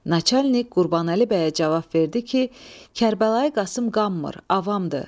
Naçalnik Qurbanəli bəyə cavab verdi ki, Kərbəlayi Qasım qanmır, avamdır.